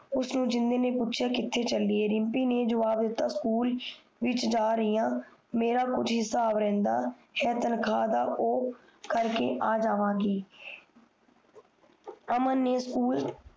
ਉਸਨੇ ਜਿੰਨਦੇ ਨੇ ਪੁਸ਼ਯ ਕਿਮੇਰਾ ਕੁਜ ਥੇ ਚੱਲੀ ਹੈ ਰਿਮਪੀ ਨੇ ਜਵਾਬ ਦਿਤਾ ਸਕੂਲ ਵਿਚ ਜਾ ਰਹੀ ਆ ਮੇਰਾ ਸ਼ੂਲ ਵਿਚ ਕੁਜ ਹਿਸਾਬ ਦਿਤਾ ਤਾਨਖਾ ਦਾ ਓ ਕਰਕੇ ਆ ਜਾਵਾ ਗਈ